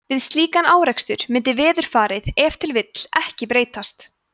við slíkan árekstur mundi veðurfarið ef til vill ekki breytast